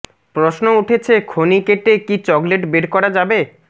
প্রশ্ন উঠেছে খনি কেটে কি চকলেট বের করা যাবে